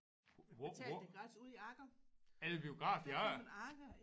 Hvor hvor? Er der biograf i Agger?